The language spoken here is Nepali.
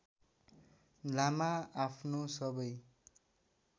लामा आफ्नो सबै